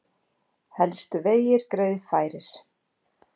Helstu vegir greiðfærir